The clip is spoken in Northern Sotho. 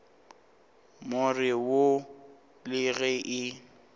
more wo le ge e